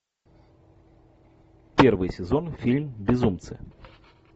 первый сезон фильм безумцы